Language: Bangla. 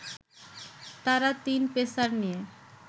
তারা তিন পেসার নিয়ে